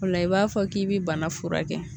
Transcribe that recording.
O la i b'a fɔ k'i bɛ bana furakɛ